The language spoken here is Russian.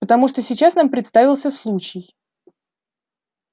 потому что сейчас нам предоставился случай